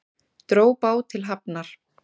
Dró bát til hafnar